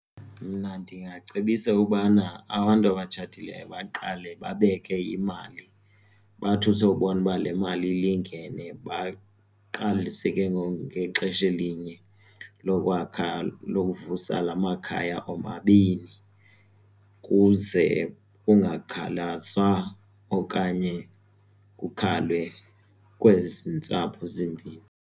Mna ndingacebisa ubana abantu abatshatileyo baqale babeke imali bathi usewubona uba le mali ilingene baqalise ke ngoku ngexesha elinye lokwakha, lokuvusa la makhaya omabini kuze kungakhalazwa okanye kukhalwe kwezi ntsapho zimbini.